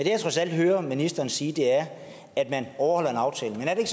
jeg trods alt hører ministeren sige er at man overholder en aftale men er det